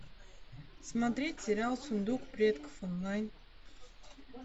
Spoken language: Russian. смотреть сериал сундук предков онлайн